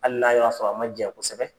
Hali n'a y'a sɔrɔ a ma jɛn kosɛbɛ